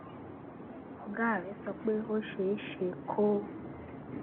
ògá rè sọ pé ó ṣeé ṣe kó